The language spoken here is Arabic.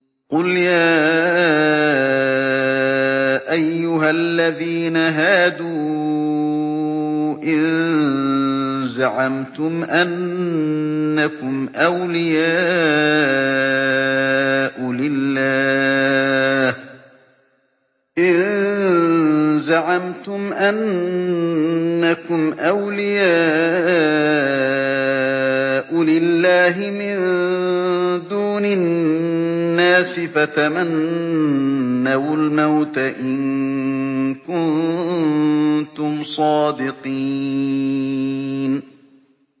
قُلْ يَا أَيُّهَا الَّذِينَ هَادُوا إِن زَعَمْتُمْ أَنَّكُمْ أَوْلِيَاءُ لِلَّهِ مِن دُونِ النَّاسِ فَتَمَنَّوُا الْمَوْتَ إِن كُنتُمْ صَادِقِينَ